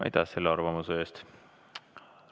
Aitäh selle arvamuse eest!